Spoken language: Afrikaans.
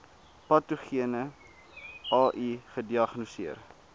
patogene ai gediagnoseer